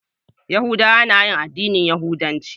Yahudawa na yin addinin yahudanci.